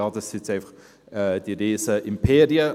«Das sind jetzt einfach diese riesigen Imperien.»